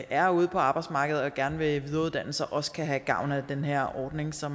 er ude på arbejdsmarkedet og gerne vil videreuddanne sig også kan have gavn af den her ordning så